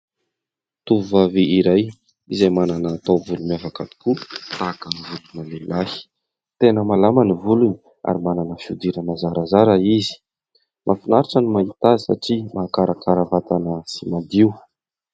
Tovovavy iray izay manana taovolo miavaka tokoa tahaka ny volona lehilahy, tena malama ny volony ary manana fihodirana zarazara izy, mahafinaritra no mahita azy satria mahakarakara vatana sy madio.